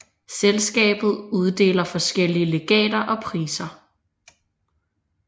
Selskabet uddeler forskellige legater og priser